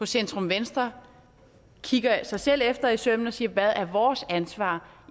centrum venstre kigger sig selv efter i sømmene og siger hvad er vores ansvar